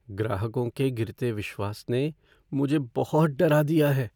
ग्राहकों के गिरते विश्वास ने मुझे बहुत डरा दिया है।